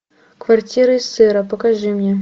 квартира из сыра покажи мне